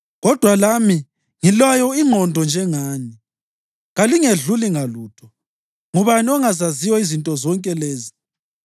Kodwa lami ngilayo ingqondo njengani; kalingedluli ngalutho. Ngubani ongazaziyo izinto zonke lezi?